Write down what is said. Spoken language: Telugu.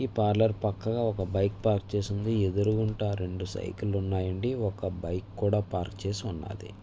పార్లోర్ పక్కనే బైక్ పార్క్ చేసివుంది. ఎదురుగుట రెండు సైకిల్ లు ఉనాయి అండి. ఒక బైక్ కూడా పార్క్ ఉన్నాది.